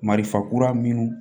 Marifa kura minnu